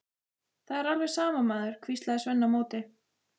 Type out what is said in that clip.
Það er alveg sama, maður, hvíslaði Svenni á móti.